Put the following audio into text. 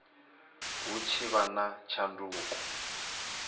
hu tshi vha na tshanduko